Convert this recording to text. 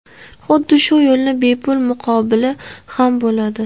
Xuddi shu yo‘lning bepul muqobili ham bo‘ladi.